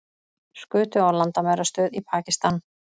Skutu á landamærastöð í Pakistan